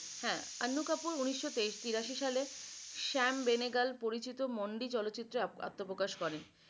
হ্যাঁ আন্নু কাপুর উনিশশ তিরাশি সালে শ্যাম ভেনেগাল পরিচিত মন্দি চলচিত্রে আত্বপ্রকাশ করেন।